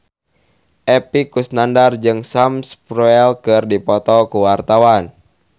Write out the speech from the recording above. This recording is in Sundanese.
Epy Kusnandar jeung Sam Spruell keur dipoto ku wartawan